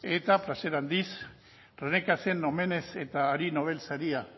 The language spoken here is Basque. eta plazer handiz rené cassin en omenez eta hari nobel saria